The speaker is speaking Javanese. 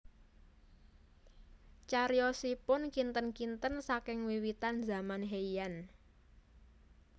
Cariyosipun kinten kinten saking wiwitan zaman Heian